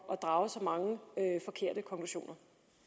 at drage så mange forkerte konklusioner